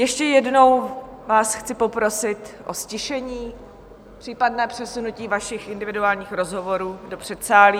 Ještě jednou vás chci poprosit o ztišení, případné přesunutí vašich individuálních rozhovorů do předsálí.